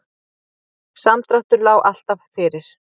Samdráttur lá alltaf fyrir